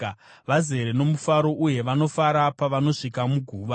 vazere nomufaro uye vanofara pavanosvika muguva?